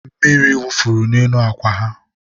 mmiri wufuru n'elu akwa ya